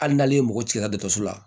Hali n'ale ye mɔgɔ ci la dɔkɔtɔrɔso la